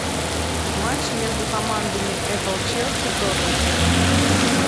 матч между командами эпл челси тоттенхэм